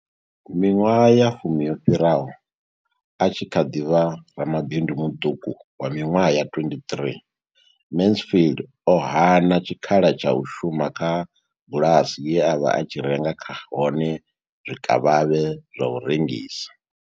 Miṅwaha ya fumi yo fhiraho, a tshi kha ḓi vha ramabindu muṱuku wa miṅwaha ya 23, Mansfield o hana tshikhala tsha u shuma kha bulasi ye a vha a tshi renga kha hone zwikavhavhe zwa u rengisa.